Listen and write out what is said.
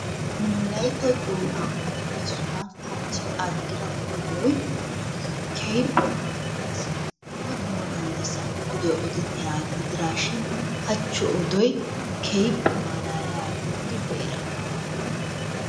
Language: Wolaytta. Nu wolaytta doonaani odi bessuwa hachi adhida odoy keehippe maalaalees, dumma dumma gallassan odoy oddettiyagaa gidiraashin hachi odoy keehippe malaaliyagaa gidir be'ira.